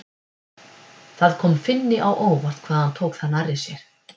Það kom Finni á óvart hvað hann tók það nærri sér.